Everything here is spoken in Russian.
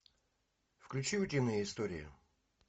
включи утиные истории